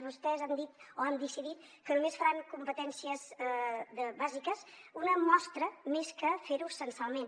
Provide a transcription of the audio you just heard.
vostès han dit o han decidit que només faran competències bàsiques una mostra més que fer ho censalment